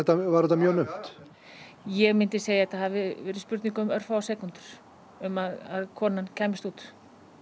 var þetta mjög naumt ég myndi segja að þetta hafi verið spurning um örfáar sekúndur um að konan kæmist út